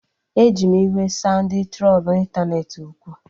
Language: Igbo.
Eji m iwe saa ndị trolu ịntanetị okwu